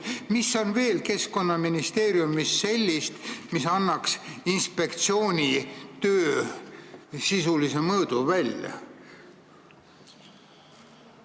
Mida on veel Keskkonnaministeeriumi valdkonnas sellist, mis annaks inspektsiooni töö sisulise mõõdu välja?